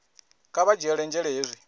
kha vha dzhiele nzhele hezwi